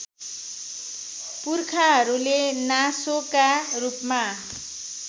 पुर्खाहरूले नासोका रूपमा